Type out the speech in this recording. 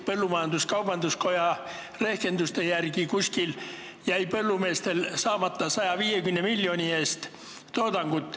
Põllumajandus-kaubanduskoja rehkenduste järgi jäi põllumeestel saamata umbes 150 miljoni eest toodangut.